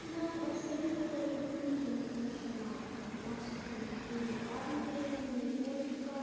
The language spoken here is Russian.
нам абсолютно любые можно абсолютно любые главной героини не только